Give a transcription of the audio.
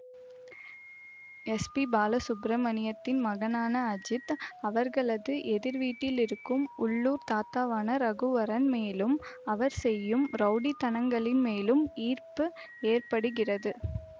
S P பாலசுப்பிரமணியத்தின் மகனான அஜித் அவர்களது எதிர்வீட்டில் இருக்கும் உள்ளூர் தாத்தாவான ரகுவரன் மேலும் அவர் செய்யும் ரவுடித்தனங்களின் மேலும் ஈர்ப்பு ஏற்படுகிறது